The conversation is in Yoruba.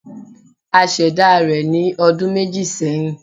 A ṣẹ̀dá rẹ̀ ní ọdun méjì sẹ́hìn.